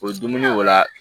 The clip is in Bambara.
O ye dumuni ko la